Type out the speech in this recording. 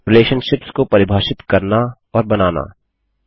relationships को परिभाषित करना और बनाना